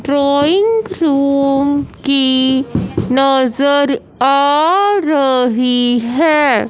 Drawing room की नजर आ रही है।